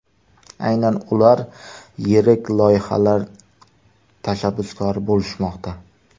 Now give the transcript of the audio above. Aynan ular yirik loyihalar tashabbuskori bo‘lishmoqda.